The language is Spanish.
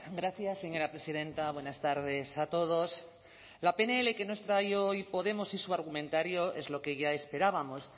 gracias señora presidenta buenas tardes a todos la pnl que nos trae hoy podemos y su argumentario es lo que ya esperábamos